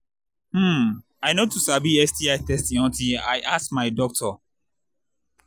hmmm i i no too sabi sti testing until i ask my doctor